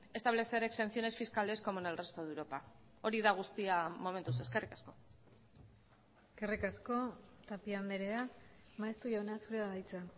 establecer exenciones fiscales como en el resto de europa hori da guztia momentuz eskerrik asko eskerrik asko tapia andrea maeztu jauna zurea da hitza